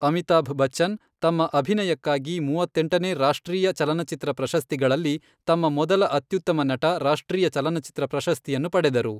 ಅಮಿತಾಭ್ ಬಚ್ಚನ್, ತಮ್ಮ ಅಭಿನಯಕ್ಕಾಗಿ ಮೂವತ್ತೆಂಟನೇ ರಾಷ್ಟ್ರೀಯ ಚಲನಚಿತ್ರ ಪ್ರಶಸ್ತಿಗಳಲ್ಲಿ ತಮ್ಮ ಮೊದಲ ಅತ್ಯುತ್ತಮ ನಟ ರಾಷ್ಟ್ರೀಯ ಚಲನಚಿತ್ರ ಪ್ರಶಸ್ತಿಯನ್ನು ಪಡೆದರು.